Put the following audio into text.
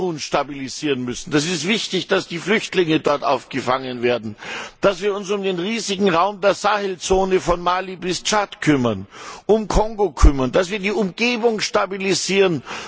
Kamerun stabilisieren müssen es ist wichtig, dass die Flüchtlinge dort aufgefangen werden dass wir uns um den riesigen Raum der Sahelzone von Mali bis Tschad kümmern, um Kongo kümmern, dass wir die Umgebung stabilisieren.